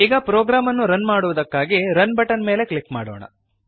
ಈಗ ಪ್ರೋಗ್ರಾಮ್ ಅನ್ನು ರನ್ ಮಾಡುವುದಕ್ಕಾಗಿ ರನ್ ಬಟನ್ ಮೇಲೆ ಕ್ಲಿಕ್ ಮಾಡೋಣ